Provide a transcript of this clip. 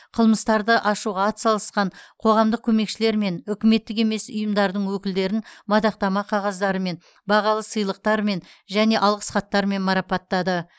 қылмыстарды ашуға ат салысқан қоғамдық көмекшілер мен үкіметтік емес ұйымдардың өкілдерін мадақтама қағаздарымен бағалы сыйлықтармен және алғыс хаттармен марапаттады